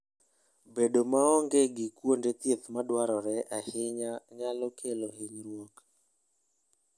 Bedo maonge gi kuonde thieth madwarore ahinya nyalo kelo hinyruok.